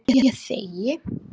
Ég þegi.